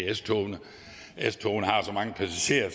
s togene s togene har så mange passagerer